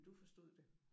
Men du forstod det?